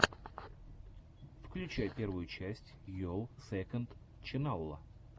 включай первую часть йолл сэконд ченнала